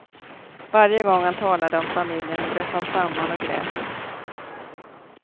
Varje gång han talade om familjen bröt han samman och grät.